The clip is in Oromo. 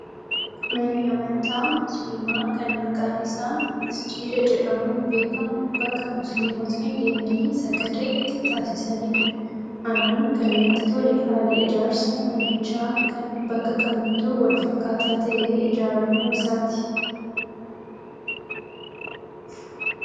Manni amantaa musliimaa kan maqaan isaa masjiida jedhamuun beekamu bakka musliimotni deemanii sagada itti taasisanidha. Anaan kan natti tole haala ijaarsa manichaa kan bakka kamittuu wal fakkaataa ta'ee ijaaramuu isaati